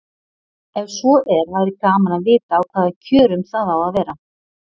Ef svo er væri gaman að vita á hvaða kjörum það á að vera.